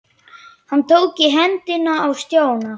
Hann tók í hendina á Stjána.